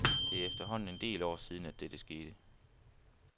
Det er efterhånden en del år siden, at dette skete.